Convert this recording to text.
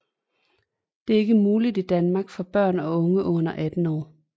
Det er ikke muligt i Danmark for børn og unge under 18 år